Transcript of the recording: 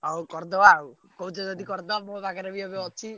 ହଉ କରିଦବା ଆଉ, କହୁଛ ଯଦି କରିଦବା ମୋ ପାଖରେ ବି ଏବେ ଅଛି।